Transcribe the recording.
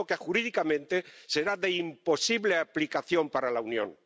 De modo que, jurídicamente, será de imposible aplicación para la Unión.